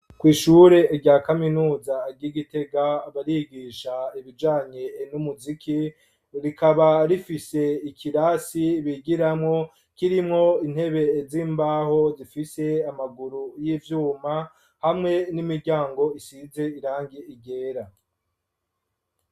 Kw'ishure rya kaminuza ryi Gitega barigisha ibijanye n'umuziki rikaba rifise ikirasi bigiramwo kirimwo intebe z'imbaho zifise amaguru y'ivyuma hamwe n'imiryango isize irangi ryera.